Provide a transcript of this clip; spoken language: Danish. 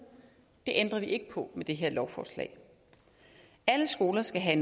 det ændrer vi ikke på med det her lovforslag alle skoler skal have